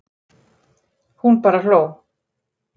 Hún bara hló.